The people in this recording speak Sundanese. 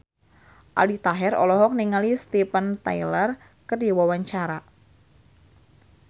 Aldi Taher olohok ningali Steven Tyler keur diwawancara